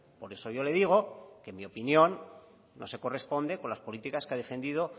por eso yo le digo que en mi opinión no se corresponde con las políticas que ha defendido